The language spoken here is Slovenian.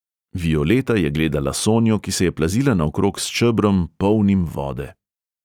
Violeta je gledala sonjo, ki se je plazila naokrog s čebrom, polnim vode.